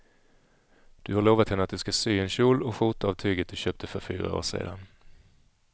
Du har lovat henne att du ska sy en kjol och skjorta av tyget du köpte för fyra år sedan.